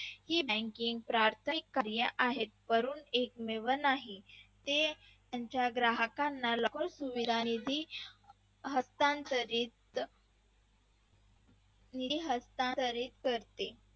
हे banking प्राथमिक क्रिया आहे करून एक पण नाही ते त्यांच्या ग्राहकांना loan झालेला निधी हस्तांतरित निधी हस्तांतरित करते.